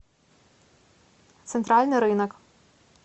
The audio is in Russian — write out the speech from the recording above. центральный рынок